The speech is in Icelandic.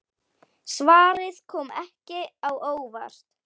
Svarið kom ekki á óvart.